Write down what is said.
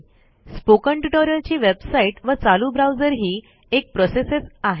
spoken tutorial ची website व चालू ब्राउजरही एक प्रोसेसच आहे